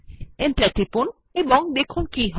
enter টিপুন এবং দেখুন কী হয়